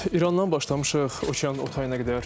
İrandan başlamışıq, okeanın o tayına qədər.